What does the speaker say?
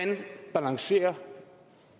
reducere